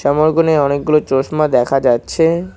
আমার ওখানে অনেকগুলো চশমা দেখা যাচ্ছে।